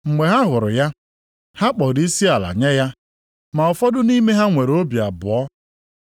Mgbe ha hụrụ ya, ha kpọrọ isiala nye ya. Ma ụfọdụ nʼime ha nwere obi abụọ.